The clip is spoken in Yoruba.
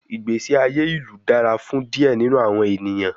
Igbesi aye ilu dara fun diẹ ninu awọn eniyan